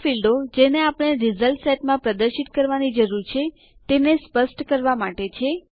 આ ફીલ્ડો જેને આપણે રીઝલ્ટ સેટ માં પ્રદર્શિત કરવાની જરૂર છે તેને સ્પષ્ટ કરવા માટે છે